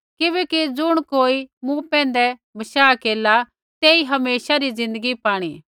किबैकि ज़ुण कोई मूँ पैंधै बशाह केरला तेई हमेशा री ज़िन्दगी पाणी